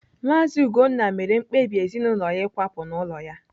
Maazi Ugonna mere mkpebi ezinụlọ ya ịkwapụ n'ụlọ ya.